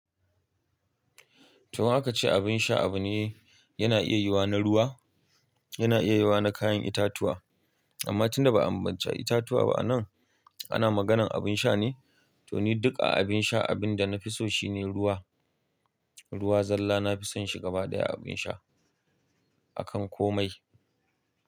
To haka ce abin sha abu ne, yana iya yiwuwa na ruwa, yana iya yiwuwa na kayan itatuwa. Amma tunda ba an bance itatuwa ba a nan, ana maganan abin sha ne. To ni duk a abin sha abin da na fi so shine ruwa. Ruwa zalla na fi son shi gaba ɗaya abin sha, akan komai.